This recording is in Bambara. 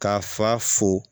K'a fa fo